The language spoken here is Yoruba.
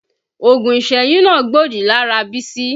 Oògùn ìsẹ́yún náà gbòdì lára Bísí